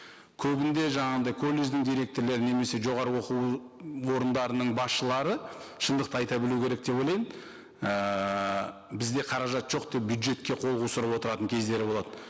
көбінде жаңағындай колледждің директорлері немесе жоғарғы оқу ы орындарының басшылары шындықты айта білу керек деп ойлаймын ііі бізде қаражат жоқ деп бюджетке қол кездері болады